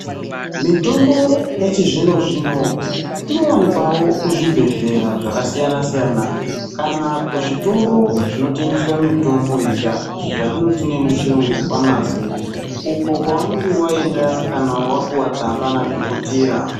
Mitombo yachizvino-zvino, inowanikwawo kuzvibhedhlera zvakasiyana-siyana, kana kuzvitoro zvinotengeswa mitombo yega, izvo zvatinoti nemuchirungu-famasi, uko kwaunenge waenda kana wapuwa tsamba nadhokotera.